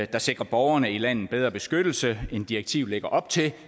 der sikrer borgerne i landet bedre beskyttelse end direktivet lægger op til